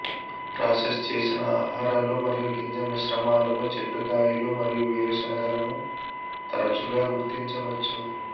process చేసిన ఆహారాలు మరియు గింజ మిశ్రమాలలో చెట్టు కాయలు మరియు వేరుశెనగలను తరచుగా గుర్తించవచ్చు